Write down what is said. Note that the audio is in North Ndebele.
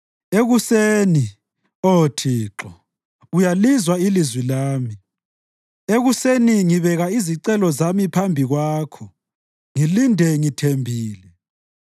Ekuseni, Oh Thixo, uyalizwa ilizwi lami; ekuseni ngibeka izicelo zami phambi kwakho ngilinde ngithembile.